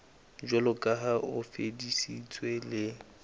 jwaloka ha o fetisitswe le